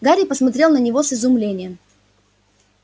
гарри посмотрел на него с изумлением